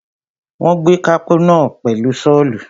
Wọ́n gé pákó náà pẹ̀lú Ṣọ́ọ̀lù.